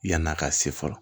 Yann'a ka se fɔlɔ